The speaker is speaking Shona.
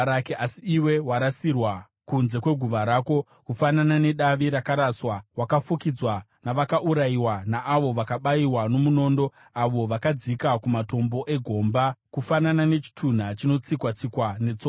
Asi iwe warasirwa kunze kweguva rako, kufanana nedavi rakaraswa; wakafukidzwa navakaurayiwa, naavo vakabayiwa nomunondo, avo vakadzika kumatombo egomba. Kufanana nechitunha chinotsikwa-tsikwa netsoka,